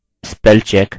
spell check